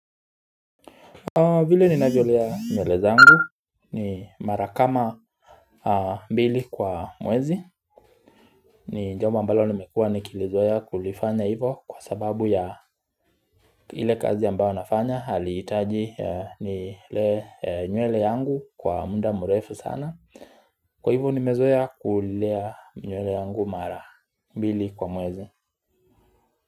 Vile ninavyolea nywele zangu ni mara kama mbili kwa mwezi ni jambo ambalo nimekua nikilizoeya kulifanya hivo kwa sababu ya ile kazi ambao nafanya Halitaji nilee nywele yangu kwa muda murefu sana Kwa hivo nimezoea kulea nywele yangu mara mbili kwa mwezi.